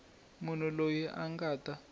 munhu loyi a nga ta